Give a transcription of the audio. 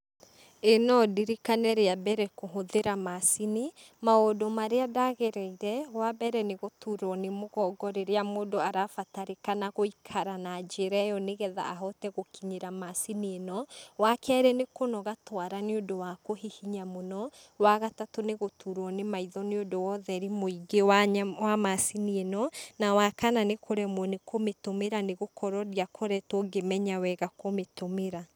ĩĩ no ndirikane rĩa mbere kũhũthĩra macini ,maũndũ marĩa ndagereire, wa mbere , nĩ gũturwo nĩ mũgongo rĩrĩa mũndũ arabatarĩkana gũikira na njĩra ĩrĩa yo nĩgetha ahote gũkinyira macini ĩno, wa kerĩ nĩ kũnoga twara nĩ ũndũ wa kũhihinya mũno, wa gatatũ nĩ gũturwo nĩ maitho nĩ ũndũ wa ũtheri mũingĩ wa nya macini ĩno, na waka nĩ kũremwo nĩ kũtũmĩra nĩgũkorwo ndiamenyete wega kũmĩtũmĩra.